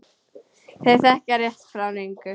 Þau þekkja rétt frá röngu.